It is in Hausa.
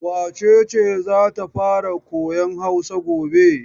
Wace ce za ta fara koyan Hausa gobe?